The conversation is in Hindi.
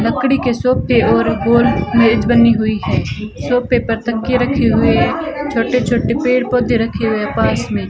लकड़ी के सोपे और गोल मेज बनी हुई है सोपे पर तकिये रखी हुई है छोटे-छोटे पेड़-पौधे रखे हुए है पास मे --